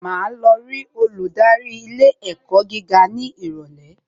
Màá lọ rí olùdarí ilé ẹ̀kọ́ gíga ní ìrọ̀lẹ́